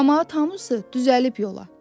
Camaat hamısı düzəlib yola.